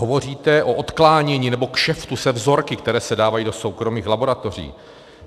Hovoříte o odklánění nebo kšeftu se vzorky, které se dávají do soukromých laboratoří.